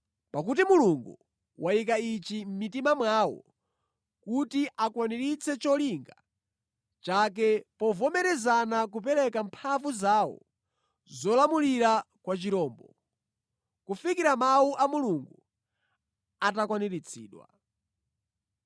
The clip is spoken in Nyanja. Pakuti Mulungu wayika ichi mʼmitima mwawo kuti akwaniritse cholinga chake povomerezana kupereka mphamvu zawo zolamulira kwa chirombo, kufikira Mawu a Mulungu atakwaniritsidwa.